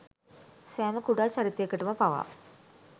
සෑම කුඩා චරිතයකටම පවා